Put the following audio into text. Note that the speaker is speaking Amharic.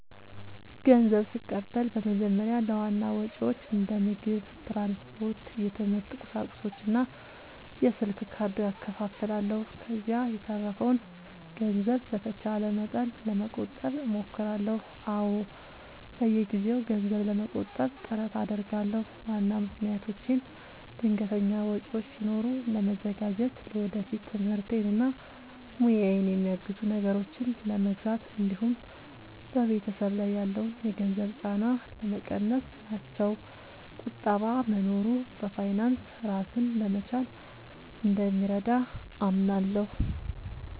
ንዘብ ስቀበል በመጀመሪያ ለዋና ወጪዎቼ እንደ ምግብ፣ ትራንስፖርት፣ የትምህርት ቁሳቁሶች እና የስልክ ካርድ እከፋፍለዋለሁ። ከዚያ የተረፈውን ገንዘብ በተቻለ መጠን ለመቆጠብ እሞክራለሁ። አዎ፣ በየጊዜው ገንዘብ ለመቆጠብ ጥረት አደርጋለሁ። ዋና ምክንያቶቼም ድንገተኛ ወጪዎች ሲኖሩ ለመዘጋጀት፣ ለወደፊት ትምህርቴን እና ሙያዬን የሚያግዙ ነገሮችን ለመግዛት እንዲሁም በቤተሰብ ላይ ያለውን የገንዘብ ጫና ለመቀነስ ናቸው። ቁጠባ መኖሩ በፋይናንስ ራስን ለመቻል እንደሚረዳ አምናለሁ።